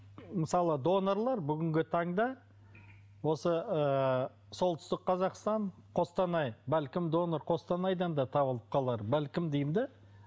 мысалы донорлар бүгінгі таңда осы ыыы солтүстік қазақстан қостанай бәлкім донор қостанайдан да табылып қалар бәлкім деймін де